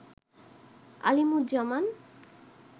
Alimuzzaman